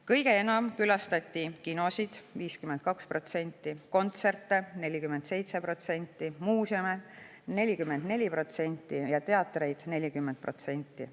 Kõige enam külastati kinosid – 52%, kontserte – 47%, muuseume – 44% ja teatreid – 40%.